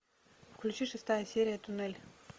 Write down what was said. включи шестая серия туннель